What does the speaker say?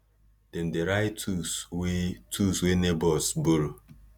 dem dey write tools wey tools wey neighbours borrow